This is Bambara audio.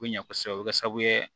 Ko ɲɛ kosɛbɛ o bɛ kɛ sababu ye